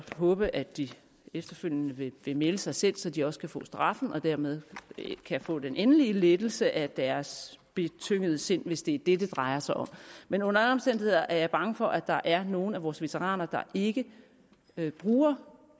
håbe at de efterfølgende vil melde sig selv så de også kan få straffen og dermed få den endelige lettelse af deres betyngede sind hvis det er det det drejer sig om men under alle omstændigheder er jeg bange for at der er nogle af vores veteraner der ikke bruger